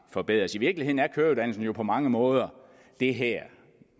forbedres i virkeligheden er køreuddannelsen jo på mange måder